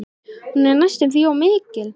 Hún er næstum því of mikil.